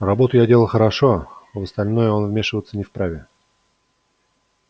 работу я делал хорошо в остальное он вмешиваться не вправе